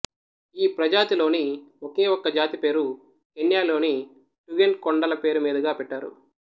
ఈ ప్రజాతి లోని ఒకే ఒక్క జాతి పేరు కెన్యా లోని టుగెన్ కొండల పేరు మీదుగా పెట్టారు